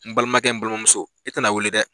N balimakɛ n balimamuso i tɛna wele dɛ